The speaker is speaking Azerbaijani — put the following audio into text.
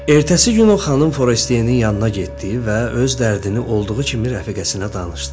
Ertəsi gün o xanım Forestiyenin yanına getdi və öz dərdini olduğu kimi rəfiqəsinə danışdı.